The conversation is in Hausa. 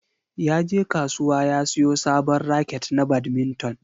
Yaje kasuwa ya siyo sabon raket na badminton.